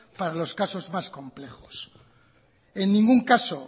para los casos más complejos en ningún caso